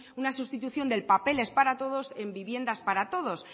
una sustitución del papeles para todos en viviendas para todos